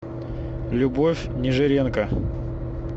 любовь нежиренко